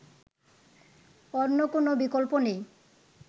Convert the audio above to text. অন্য কোন বিকল্প নেই